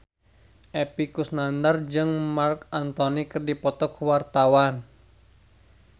Epy Kusnandar jeung Marc Anthony keur dipoto ku wartawan